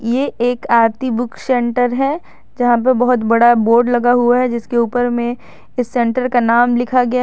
ये एक Aarti book centre है जहां पर बहुत बड़ा बोर्ड लगा हुआ है जिसके ऊपर में इस सेंटर का नाम लिखा गया --